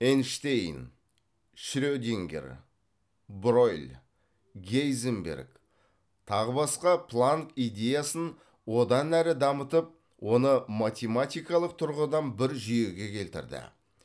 эйнштейн шредингер бройлъ гейзенберг тағы басқа планк идеясын онан әрі дамытып оны математикалық тұрғыдан бір жүйеге келтірді